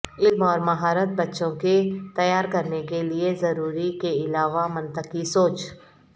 علم اور مہارت بچوں کے تیار کرنے کے لئے ضروری کے علاوہ منطقی سوچ